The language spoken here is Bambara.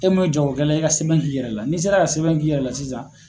E mun ye jagɔkɛla ye i ka sɛbɛn k'i yɛrɛ la n'i sera ka sɛbɛn k'i yɛrɛ la sisan